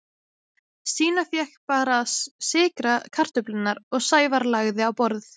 Stína fékk bara að sykra kartöflurnar og Sævar lagði á borð.